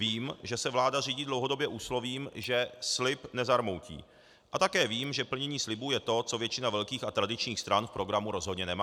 Vím, že se vláda řídí dlouhodobě úslovím, že slib nezarmoutí, a také vím, že plnění slibů je to, co většina velkých a tradičních stran v programu rozhodně nemá.